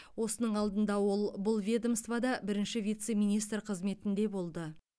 осының алдында ол бұл ведомствода бірінші вице министр қызметінде болды